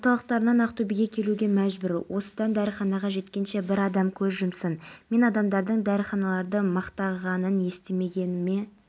аталған отырыс сириядағы дағдарыс мәселесіне арналды министрдің айтуынша бітімгерлік күштерді бірнеше ұйымның аясында пайдалануға рұқсат бар